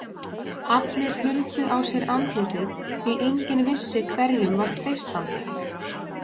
Allir huldu á sér andlitið, því enginn vissi hverjum var treystandi.